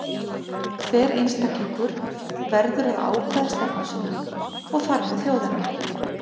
Hver einstaklingur verður að ákveða stefnu sína, og þar með þjóðarinnar.